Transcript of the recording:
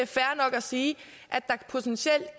fair nok at sige at der potentielt